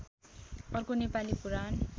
अर्को नेपाली पुराण